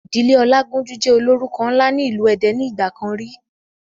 Ìdílé ọlágúnjú jẹ́ ólórúko ńlá ni ilu èdè ni ìgbàkan rí